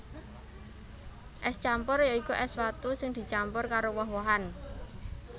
Ès campur ya iku ès watu sing dicampur karo woh wohan